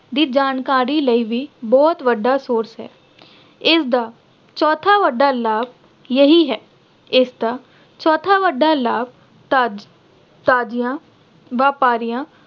ਦੀ ਜਾਣਕਾਰੀ ਲਈ ਵੀ ਬਹੁਤ ਵੱਡਾ source ਹੈ। ਇਸਦਾ ਚੌਥਾ ਵੱਡਾ ਲਾਭ ਇਹੀ ਹੈ। ਇਸਦਾ ਚੌਥਾ ਵੱਡਾ ਲਾਭ ਤਾਜ਼ ਅਹ ਤਾਜ਼ਿਆਂ ਵਾਪਰੀਆਂ